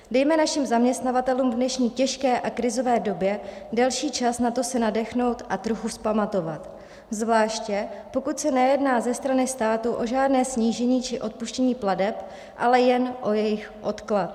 Dejme našim zaměstnavatelům v dnešní těžké a krizové době delší čas na to se nadechnout a trochu vzpamatovat, zvlášť pokud se nejedná ze strany státy o žádné snížení či odpuštění plateb, ale jen o jejich odklad.